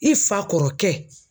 I fa kɔrɔkɛ